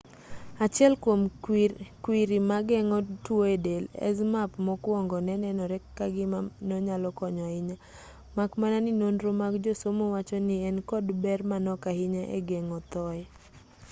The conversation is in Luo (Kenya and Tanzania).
achiel kwom kwriri mageng'o tuo e del zmapp mokwongo ne nenore ka gima nonyalo konyo ahinya mak mana ni nonro mag josomo wacho ni en kod ber manok ahinya e geng'o thoye